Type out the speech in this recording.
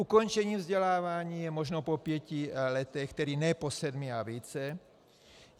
Ukončení vzdělávání je možno po pěti letech, tedy ne po sedmi a více.